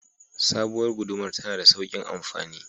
Sabowar gudumar tana da saukin amfani